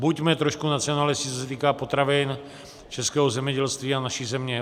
Buďme trošku nacionalisti, co se týká potravin, českého zemědělství a naší země.